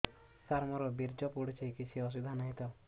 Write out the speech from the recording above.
ସାର ମୋର ବୀର୍ଯ୍ୟ ପଡୁଛି କିଛି ଅସୁବିଧା ନାହିଁ ତ